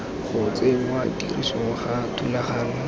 go tsenngwa tirisong ga thulaganyo